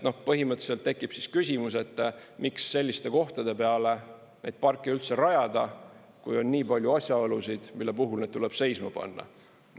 Põhimõtteliselt tekib siis küsimus, miks selliste kohtade peale neid parke üldse rajada, kui on nii palju asjaolusid, mille puhul need tuleb seisma panna.